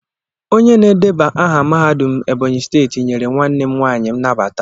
Onye na-edeba aha mahadum Ebonyi steeti nyere nwanne m nwaanyị nnabata.